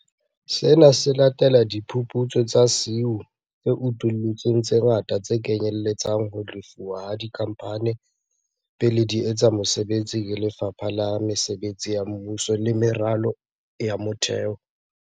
Sena se latela diphuputso tsa SIU tse utullutseng tse ngata tse kenyelletsang ho lefuwa ha dikhamphane pele di etsa mosebetsi ke Lefapha la Mesebetsi ya Mmuso le Meralo ya Motheo.